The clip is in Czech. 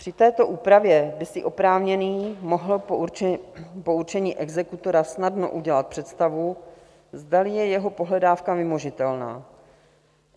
Při této úpravě by si oprávněný mohl po určení exekutora snadno udělat představu, zdali je jeho pohledávka vymožitelná.